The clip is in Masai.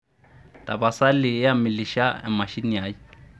tapasali amilisha emashini ai